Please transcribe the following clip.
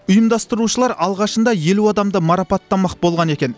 ұйымдастырушылар алғашында елу адамды марапаттамақ болған екен